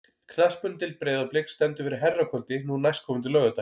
Knattspyrnudeild Breiðabliks stendur fyrir herrakvöldi nú næstkomandi laugardag.